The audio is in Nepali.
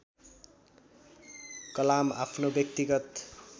कलाम आफ्नो व्यक्तिगत